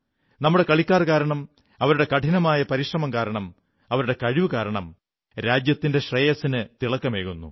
നമ്മുടെ കളിക്കാർ കാരണം അവരുടെ കഠിനമായ പരിശ്രമം കാരണം അവരുടെ കഴിവുകാരണം രാജ്യത്തിന്റെ ശ്രേയസിന് തിളക്കമേറുന്നു